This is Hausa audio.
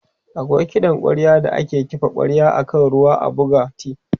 akwai kiɗan kwarya da ake kifa kwarya akan ruwa a buga t